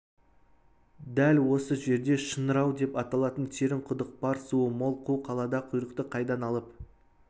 дәл осы жерде шыңырау деп аталатын терең құдық бар суы мол қу далада құйрықты қайдан алып